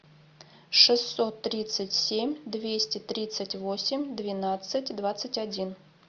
шестьсот тридцать семь двести тридцать восемь двенадцать двадцать один